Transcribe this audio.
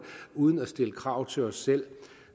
uden at stille krav til os selv